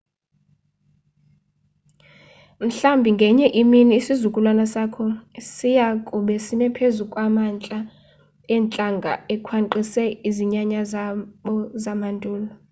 mhlambi ngenye imini, isizukulwana sakho siyakube sime phezu kwamantla eentlanga ekhwankqisiwe zizinyanya zabo zamandulo